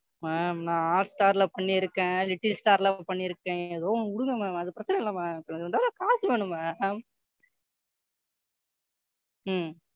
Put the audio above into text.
Ma'am நான் Hotstar ல பண்ணிருக்கன் Littlestar ல பண்ணிருக்கன் ஏதோ ஒன்னு விடுங்க Ma'am அது பிரச்சனை இல்லை Ma'am இப்ப எனக்கு தேவை காசு வேணும் Ma'am ம்,